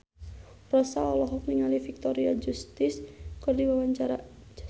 Rossa olohok ningali Victoria Justice keur diwawancara